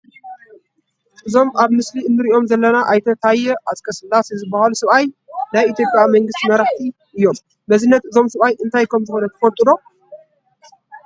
እዞም ኣብ ምስሊ ንሪኦም ዘለና ኣይተ ታየ ኣፅቀስላሴ ዝበሃሉ ሰብኣይ ናይ ኢትዮጵያ መንግስቲ መራሒ እዮም፡፡ መዝነት እዞም ሰብኣይ እንታይ ከምዝኾነ ትፈልጡ ዶ?